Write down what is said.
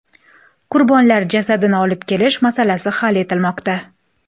Qurbonlar jasadini olib kelish masalasi hal etilmoqda.